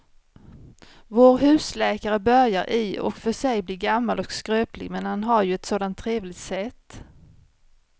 Vår husläkare börjar i och för sig bli gammal och skröplig, men han har ju ett sådant trevligt sätt!